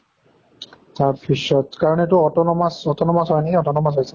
তাৰ পিছত কাৰণ এইটো autonomous autonomous হয় নেকি autonomous হয় চাগে।